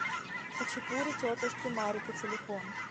хачапури тетушки марико телефон